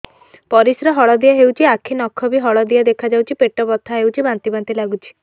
ପରିସ୍ରା ହଳଦିଆ ହେଉଛି ଆଖି ନଖ ବି ହଳଦିଆ ଦେଖାଯାଉଛି ପେଟ ବଥା ହେଉଛି ବାନ୍ତି ବାନ୍ତି ଲାଗୁଛି